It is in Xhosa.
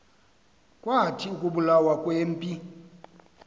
kwathi ukubulawa kwempi